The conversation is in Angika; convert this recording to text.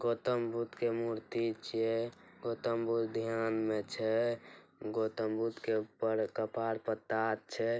गौतम बुद्ध के मूर्ति छै। गौतम बुद्ध ध्यान में छै। गौतम बुद्ध के ऊपर कपार पर ताज छै।